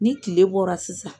Ni tile bɔra sisan